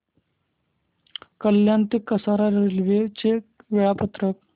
कल्याण ते कसारा रेल्वे चे वेळापत्रक